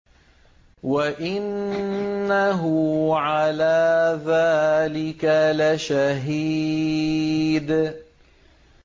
وَإِنَّهُ عَلَىٰ ذَٰلِكَ لَشَهِيدٌ